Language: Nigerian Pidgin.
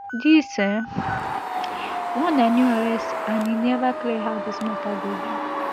dis um one na new arrest and e neva clear how dis mata go be